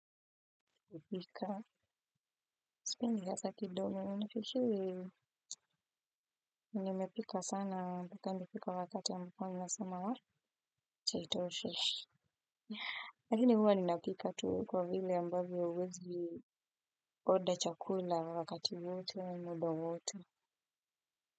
Hupika. Sipendi hasa kidogo. Nafikiri. Nimepika sana. Mpaka nimepika wakati wa mikono ninasema wah acha itoshe. Lakini huwa ninapika tu kwa vili ambavyo huwezi order chakula wakati wote muda wote.